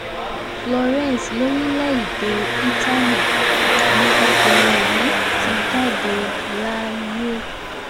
ìlú florence lórílẹ̀‐èdè italy ni ọkùnrin yìí ti jáde láyé